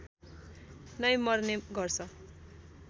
नै मर्ने गर्छ